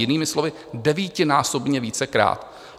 Jinými slovy, devítinásobně vícekrát.